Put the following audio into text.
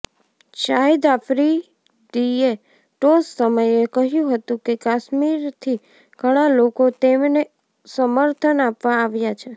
શાહિદ આફ્રીદીએ ટોસ સમયે કહ્યું હતું કે કાશ્મીરથી ઘણા લોકો તેમને સમર્થન આપવા આવ્યા છે